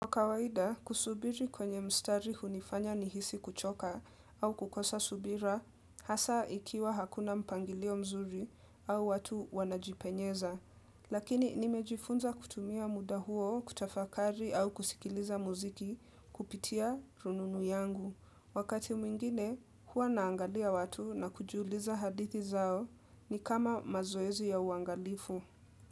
Kwa kawaida, kusubiri kwenye mstari hunifanya nihisi kuchoka au kukosa subira, hasa ikiwa hakuna mpangilio mzuri au watu wanajipenyeza. Lakini nimejifunza kutumia muda huo kutafakari au kusikiliza muziki kupitia rununu yangu. Wakati mwingine, huwa naangalia watu na kujiuliza hadithi zao ni kama mazoezi ya uangalifu.